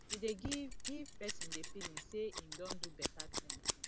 e dey give give person di feeling sey im don do better thing